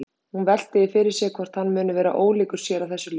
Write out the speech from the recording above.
Hún veltir því fyrir sér hvort hann muni vera ólíkur sér að þessu leyti.